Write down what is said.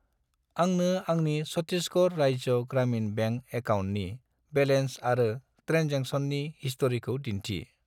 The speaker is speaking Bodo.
आंनो आंनि चत्तिसगर राज्य ग्रामिन बेंक एकाउन्टनि बेलेन्स आरो ट्रेनजेक्सननि हिस्ट'रिखौ दिन्थि।